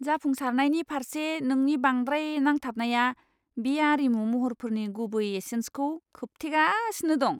जाफुंसारनि फारसे नोंनि बांद्राय नांथाबनाया बे आरिमु महरफोरनि गुबै एसेन्सखौ खोबथेगासिनो दं!